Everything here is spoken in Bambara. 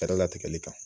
Kɛra latigɛli kan